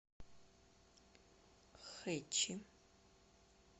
хэчи